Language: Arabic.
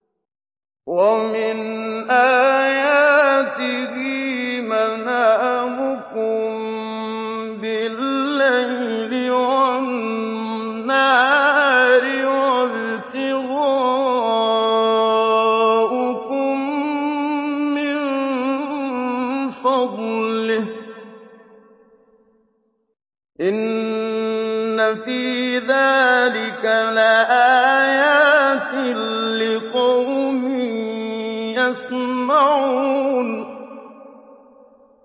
وَمِنْ آيَاتِهِ مَنَامُكُم بِاللَّيْلِ وَالنَّهَارِ وَابْتِغَاؤُكُم مِّن فَضْلِهِ ۚ إِنَّ فِي ذَٰلِكَ لَآيَاتٍ لِّقَوْمٍ يَسْمَعُونَ